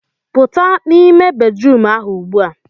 Pụta n'ime bedrum ahụ ugbua